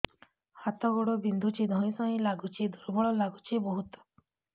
ହାତ ଗୋଡ ବିନ୍ଧୁଛି ଧଇଁସଇଁ ଲାଗୁଚି ଦୁର୍ବଳ ଲାଗୁଚି ବହୁତ